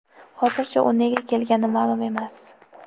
Hozircha u nega kelgani ma’lum emas.